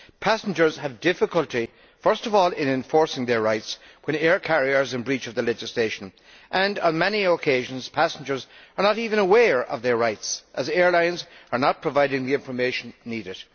Passengers have difficulty, first of all, in enforcing their rights when air carriers are in breach of the legislation and, on many occasions, passengers are not even aware of their rights, as airlines are not providing the information needed.